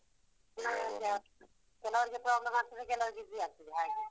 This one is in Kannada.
ಕೆಲವ್ರಿಗೆ problem ಆಗ್ತದ, ಕೆಲವ್ರಿಗೆ easy ಆಗ್ತದೆ ಹಾಗೆ.